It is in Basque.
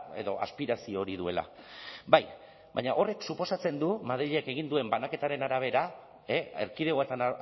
edo aspirazio hori duela bai baina horrek suposatzen du madrilek egin duen banaketaren arabera erkidegoetan